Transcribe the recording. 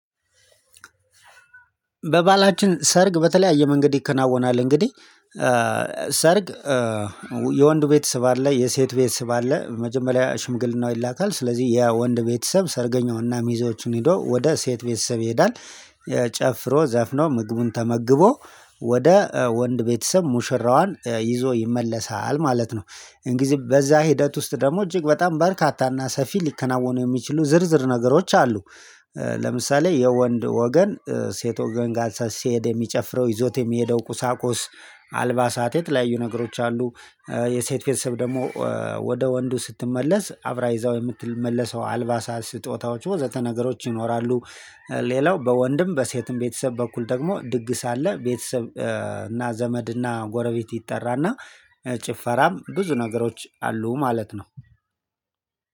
በባህላችን ሰርግ በተለያየ መንገድ ይከናወናል እንግዲህ ሰርግ የወንዱ ቤተሰብ አለ የሴት ቤተሰብ አለ መጀመሪያ ሽምግልናው ይላካል ስለዚህ የወንድ ቤተሰብ ሰርገኛውና ሚዜዎችን ሄዶ ወደ ሴት ቤተሰብ ይሄዳል። ጨፍሮ ዘፍኖ ምግቡን ተመግቦ ወደ ወንድ ቤተሰብ ሙሽራዋን ይዞ ይመለሳል ማለት ነው። እንግዲህ በዛ ሂደት ውስጥ ደግሞ እጅግ በጣም በርካታና ሰፊ ሊከናወኑ የሚችሉ ዝርዝር ነገሮች አሉ። ለምሳሌ የወንድ ወገን ሴት ወገን ጋር ሲሄድ የሚጨፍረው ይዞት የሚሄደው ቁሳቁስ አልባሳት የተለያዩ ነገሮች አሉ። የሴት ቤተሰብ ደግሞ ወደ ወንዱ ስትመለስ አብራ ይዛው የምትመለሰው አልባሳት ስጦታዎች ወዘተ ነገሮች ይኖራሉ። ሌላው በወንድም በሴትም ቤተሰብ በኩል ደግሞ ድግስ አለ ቤተሰብ እና ዘመድ እና ጎረቤት ይጠራና ጭፈራም ብዙ ነገሮች አሉ ማለት ነው።